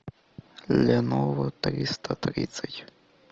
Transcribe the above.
леново триста тридцать